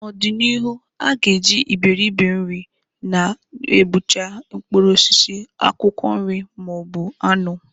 N'ọdị n'ihu, a ga-eji Iberibe-nri na-egbucha mkpụrụ osisi, akwụkwọ nri, ma ọ bụ anụ.